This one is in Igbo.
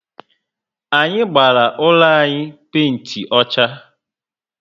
Anyị gbara úlọ anyị penti ọchá